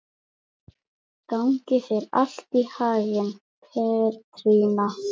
Gangi þér allt í haginn, Petrína.